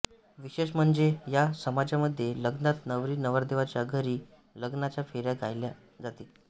विशेष म्हणजे ह्या समाजामध्ये लग्नात नवरी नवरदेवाच्या घरी लग्नाच्या फेऱ्या घ्यायला जाते